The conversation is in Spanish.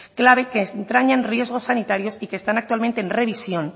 clave que entrañan riesgos sanitarios y que están actualmente en revisión